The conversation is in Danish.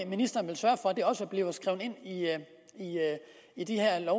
ministeren vil sørge for at det også bliver skrevet ind i de her